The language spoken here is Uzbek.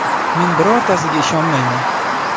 Men birortasiga ishonmayman.